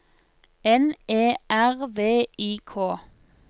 N E R V I K